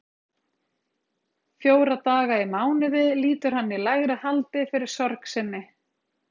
Fjóra daga í mánuði lýtur hann í lægra haldi fyrir sorg sinni.